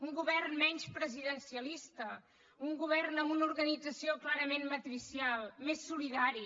un govern menys presidencialista un govern amb una organització clarament matricial més solidari